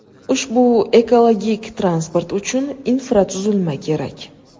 Ushbu ekologik transport uchun infratuzilma kerak.